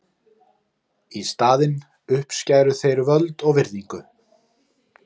Í staðinn uppskæru þeir völd og virðingu.